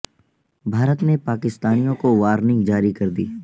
بھا ر ت نے پا کستانیو ں کو وارننگ جاری کر دی